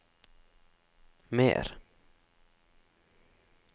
mer